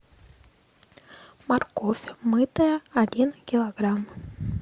морковь мытая один килограмм